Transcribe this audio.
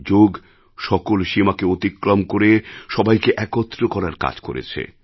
যোগ সকল সীমাকে অতিক্রম করে সবাইকে একত্র করার কাজ করেছে